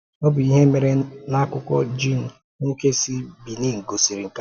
Ọ bụ ihe mere n’akụkọ Jean, nwoke si Benin, gosiri nke a.